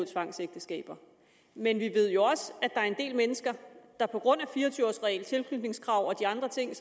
tvangsægteskaber men vi ved jo også at der er en del mennesker der på grund af fire og tyve års reglen tilknytningskravet og de andre ting